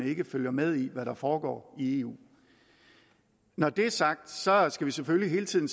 ikke følger med i hvad der foregår i eu når det er sagt så skal vi selvfølgelig hele tiden